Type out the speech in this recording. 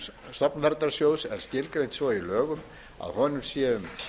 stofnverndarsjóðs er skilgreint svo í lögum að úr honum séu